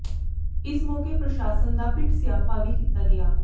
ਇਸ ਮੌਕੇ ਪ੍ਰਸ਼ਾਸਨ ਦਾ ਪਿੱਟ ਸਿਆਪਾ ਵੀ ਕੀਤਾ ਗਿਆ